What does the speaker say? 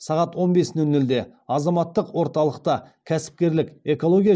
сағат он бес нөл нөлде азаматтық орталықта кәсіпкерлік экология